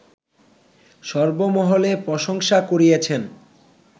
সর্বমহলে প্রশংসা কুড়িয়েছেন